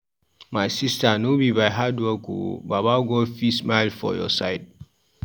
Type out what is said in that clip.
My sista no be by hardwork o, baba God fit smile for your side.